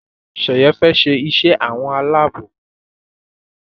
Sheye fè ṣe iṣé àwọn Àlàabò.